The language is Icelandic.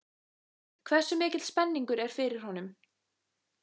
Hversu mikil spenningur er fyrir honum?